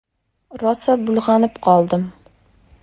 Rosa bulg‘anib qoldim.